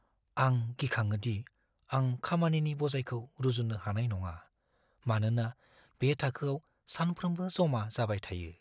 आं गिखाङो दि आं खामानिनि बजायखौ रुजुननो हानाय नङा, मानोना बे थाखोआव सानफ्रोमबो जमा जाबाय थायो।